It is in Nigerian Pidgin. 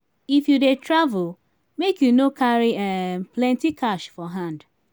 if you dey travel make you no carry um plenty cash for hand.